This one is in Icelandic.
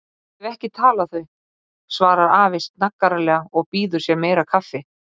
Ég hef ekki talið þau, svarar afi snaggaralega og býður sér meira kaffi.